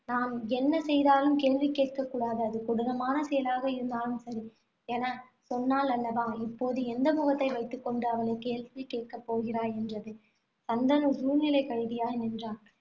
நான் என்ன செய்தாலும், கேள்வி கேட்கக்கூடாது. அது கொடூரமான செயலாக இருந்தாலும் சரி என சொன்னாள் அல்லவா இப்போது, எந்த முகத்தை வைத்துக் கொண்டு, அவளை கேள்வி கேட்கப் போகிறாய் என்றது. சந்தனு சூழ்நிலைக் கைதியாய் நின்றான்.